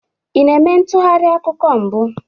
Ị na-eme ntụgharị akuku mbụ?